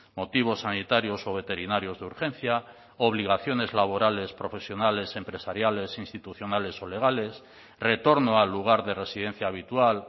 motivos sanitarios o veterinarios de urgencia obligaciones laborales profesionales empresariales institucionales o legales retorno al lugar de residencia habitual